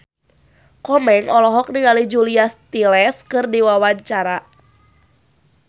Komeng olohok ningali Julia Stiles keur diwawancara